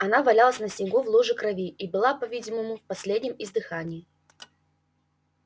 она валялась на снегу в луже крови и была по видимому в последнем издыхании